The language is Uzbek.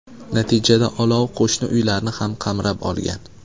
Natijada olov qo‘shni uylarni ham qamrab olgan.